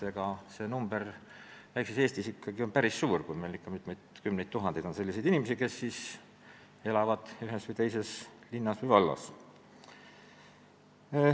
Aga see number on väikses Eestis ikkagi päris suur: meil on mitukümmend tuhat inimest, kes elavad ühes või teises linnas või vallas.